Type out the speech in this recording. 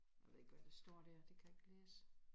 Jeg ved ikke hvad der står dér det kan jeg ikke læse